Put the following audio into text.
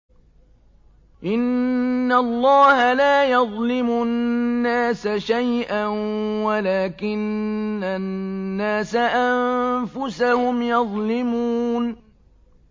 إِنَّ اللَّهَ لَا يَظْلِمُ النَّاسَ شَيْئًا وَلَٰكِنَّ النَّاسَ أَنفُسَهُمْ يَظْلِمُونَ